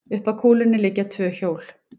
Upp að kúlunni liggja tvö hjól.